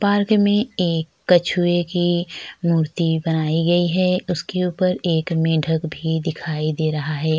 Park में एक कछुए की एक मुर्ति बनाई गई है उसके ऊपर एक मेंढक भी दिखाई दे रहा है।